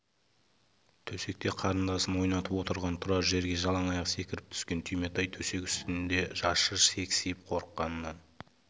төсекте қарындасын ойнатып отырған тұрар жерге жалаң аяқ секіріп түскен түйметай төсек үстінде шашы сексиіп қорыққанынан